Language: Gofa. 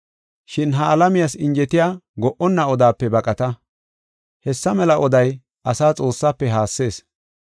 Shin ha alamiyas injetiya go77onna odape baqata. Hessa mela oday ase Xoossaafe haassees.